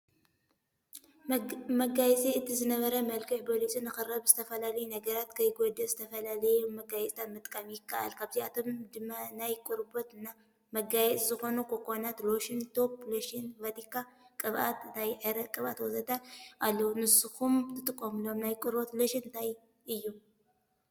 መጋየፂ፦ እቲ ዝነበረ መልክዕ በሊፁ ንክረኣን ብዝተፈላለዩ ነገራት ከይጉዳእ ዝተፈላለዩ መጋየፂታት ምጥቃም ይከኣል። ካብዚኣቶም ድማ ፤ናይ ቆርበት ና መጋየፂታት ዝኮኑ ኮኮናት ሎሽን፣ ቶፕ ሎሽን፣ ቫቲካ ቅብኣት፣ ናይ ዕረ ቅብኣት ወዘተ... ኣለው። ንስኹም ትጥቀምሎም ናይ ቆርበት ሎሽን እንታይ እዩ?